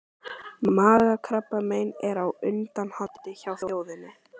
Magakrabbamein er á undanhaldi hjá þjóðinni.